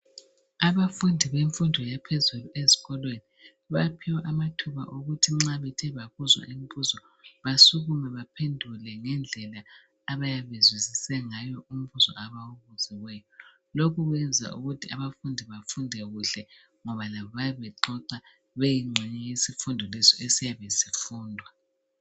Abafundi bemfundo yaphezulu ezikolweni baphiwe amathuba okuthiwa nxa bethe babuzwa imbuzo basukume baphendule ngendlela abayabe bezwisise ngayo umbuzo abawubuziweyo lokhu kwenza ukuthi abafundi befunde kuhle ngoba labo bayabe bexoxa beyingxenye yesifundo leso esiyabe sifundwa.